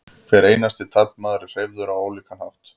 hver einasti taflmaður er hreyfður á ólíkan hátt